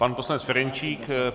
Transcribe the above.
Pan poslanec Ferjenčík.